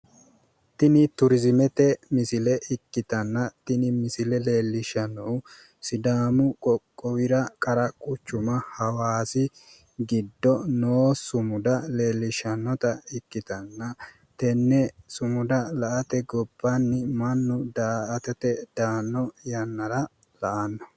Tini turzimete misile ikkitanna tini misile leelishanohu sidaamu qoqqowira qara quchuma hawasi gido noo sumuda leelishanota ikitana tene sumuda la'ate gobanni mannu da'atate daano yanara la'ano